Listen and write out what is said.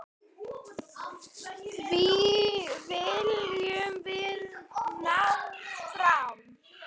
Því viljum við ná fram.